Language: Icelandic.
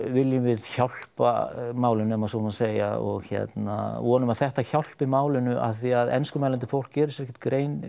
viljum við hjálpa málinu ef svo má segja og hérna vonum að þetta hjálpi málinu af því að enskumælandi fólk gerir sér ekkert grein